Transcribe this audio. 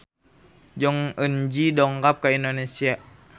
Jong Eun Ji dongkap ka Indonesia